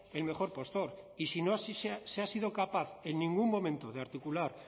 el mejor postor y si no se ha sido capaz en ningún momento de articular